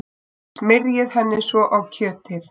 Smyrjið henni svo á kjötið.